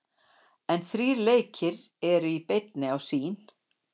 En þrír leikir eru í beinni á Sýn.